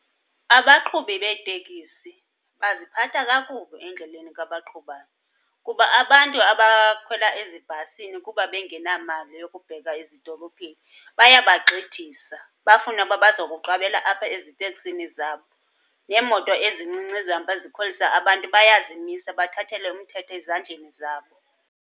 Abaqhubi beetekisi baziphatha kakubi endleleni ka baqhubayo. Kuba abantu abakhwela ezibhasini kuba bengenamali yokubheka ezidolophini bayabagxidisa bafune uba bazokuqabela apha eziteksini zabo. Neemoto ezincinci ezihamba zikhwelisa abantu bayazimisa bathathele umthetho ezandleni zabo.